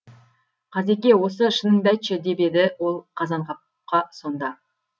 қазеке осы шыныңды айтшы деп еді ол қазанғапқа сонда